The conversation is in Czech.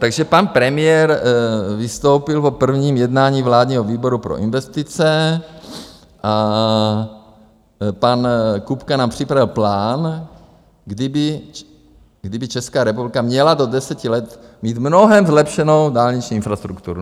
Takže pan premiér vystoupil po prvním jednání vládního výboru pro investice a pan Kupka nám připravil plán, kdy by Česká republika měla do deseti let mít mnohem zlepšenou dálniční infrastrukturu.